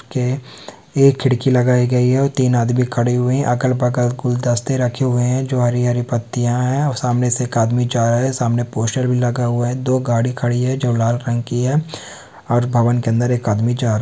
के। एक खिड़की लगाई गई हैं और तीन आदमी खड़े हुए हैं। अगल-बगल गुलदस्ते रखे हुए हैं। जो हरी हरी पतिया हैं और सामने से एक आदमी जा रहा हैं। सामने पोस्टर भी लगा हुआ हैं। दो गाड़ी खड़ी हैं जो लाल रंग की हैं और भवन के अंदर एक आदमी जा रहा हैं।